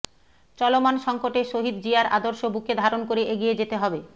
চলমান সংকটে শহীদ জিয়ার আদর্শ বুকে ধারণ করে এগিয়ে যেতে হবে